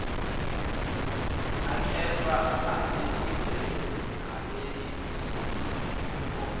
akhethwa abesigceme ukumelaimibono